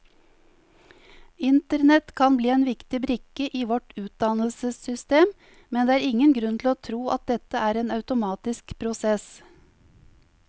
Internett kan bli en viktig brikke i vårt utdannelsessystem, men det er ingen grunn til å tro at dette er en automatisk prosess.